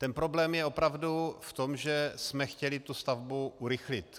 Ten problém je opravdu v tom, že jsme chtěli tu stavbu urychlit.